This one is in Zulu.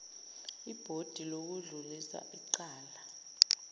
ibhodi lokudlulisa icala